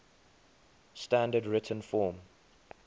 standard written form